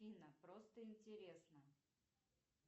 афина просто интересно